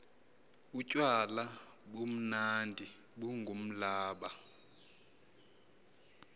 utywala bumnandi bungumblaba